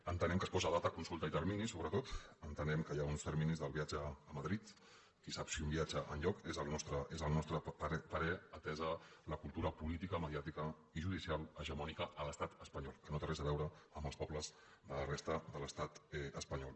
entenem que es posen data consulta i termini sobretot entenem que hi ha uns terminis del viatge a madrid qui sap si un viatge enlloc és el nostre parer atesa la cultura políti·ca mediàtica i judicial hegemònica a l’estat espanyol que no té res a veure amb els pobles de la resta de l’estat espanyol